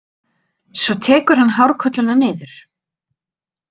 Svo tekur hann hárkolluna niður.